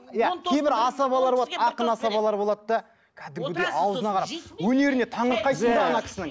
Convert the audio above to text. иә кейбір асабалар болады ақын асабалар болады да кәдімгідей ауызына қарап өнеріне таңырқайсың да кісінің